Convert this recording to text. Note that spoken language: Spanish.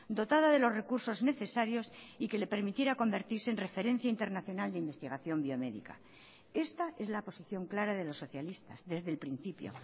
dotada de los recursos necesarios y que le permitiera convertirse en referencia internacional de investigación biomédica esta es la posición clara de los socialistas desde el principio